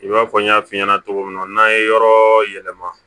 I b'a fɔ n y'a f'i ɲɛna cogo min na n'an ye yɔrɔ yɛlɛma